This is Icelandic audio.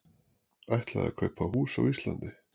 Ætlaði að kaupa hús á Íslandi